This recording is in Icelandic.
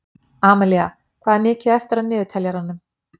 Amilía, hvað er mikið eftir af niðurteljaranum?